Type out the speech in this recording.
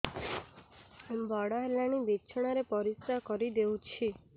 ବଡ଼ ହେଲାଣି ବିଛଣା ରେ ପରିସ୍ରା କରିଦେଉଛି